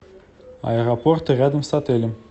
аэропорты рядом с отелем